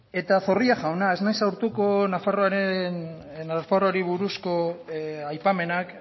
eta zorrilla jauna ez naiz sartuko nafarroari buruzko aipamenak